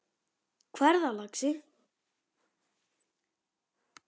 Hvað er það, lagsi?